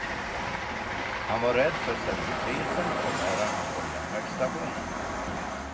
Han var rädd för servitrisen och bärarna på järnvägsstationen.